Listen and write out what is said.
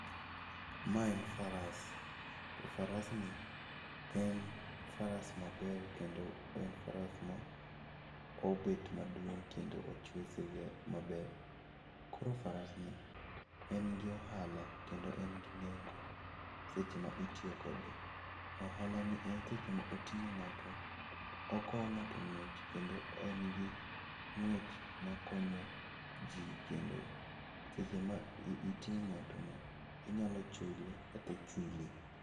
Mae en faras. To farasni en faras maber kendo en faras ma obet maduong' kendo ochwe maber. Koro farasni en gi ohala kendo en gi nengo seche ma itiyo kode. Ohalani en seche ma oting'o ng'ato, okowo ng'ato ng'weche kendo en gi ng'wech makonyo ji, kendo seche ma iting'o ng'atono, inyalo chule kata ichuli.